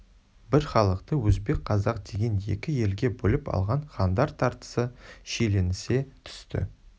бір халықты өзбек қазақ деген екі елге бөліп алған хандар тартысы шиеленісе түсті